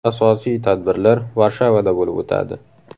Asosiy tadbirlar Varshavada bo‘lib o‘tadi.